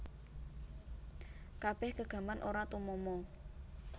Kabeh gegaman ora tumama